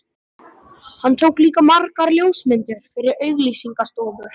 Hann tók líka margar ljósmyndir fyrir auglýsingastofur.